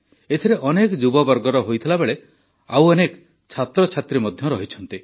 ଏଥିରେ ଅନେକ ଯୁବବର୍ଗର ହୋଇଥିବାବେଳେ ଅନେକ ଛାତ୍ରଛାତ୍ରୀ ମଧ୍ୟ ରହିଛନ୍ତି